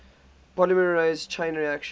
polymerase chain reaction